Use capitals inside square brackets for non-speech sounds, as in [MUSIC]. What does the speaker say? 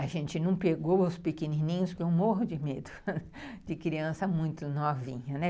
A gente não pegou os pequenininhos, porque eu morro de medo [LAUGHS] de criança muito novinha, né.